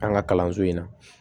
An ka kalanso in na